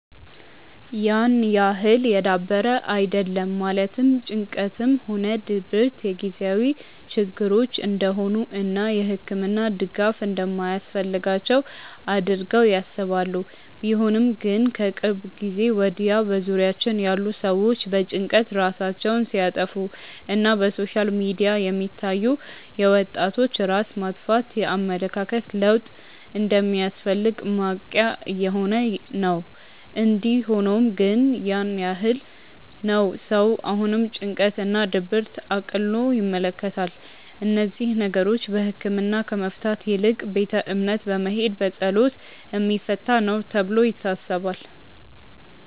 ያን ያህል የዳበረ አይደለም ማለትም ጭንቀትም ሆነ ድብረት የጊዜያዊ ችግሮች እንደሆኑ እና የህክምና ድጋፍ እንደማያስፈልጋቸው አድርገው ያስባሉ። ቢሆንም ግን ከቅርብ ጊዜ ወድያ በዙሪያችን ያሉ ሰዎች በጭንቀት ራሳቸውን ሲያጠፋ እና በሶሻል ሚዲያ የሚታዩ የወጣቶች ራስ ማጥፋት የኣመለካከት ለውጥ እንደሚያስፈልግ ማንቅያ እየሆነ ነው። እንዲ ሆኖም ግን ያን ያህል ነው ሰው አሁንም ጭንቀት እና ድብርትን እቅሎ ይመለከታል። እነዚህን ነገሮች በህክምና ከመፍታት ይልቅ ቤተ እምነት በመሄድ በፀሎት የሚፈታ ነው ተብሎ ይታሰባል።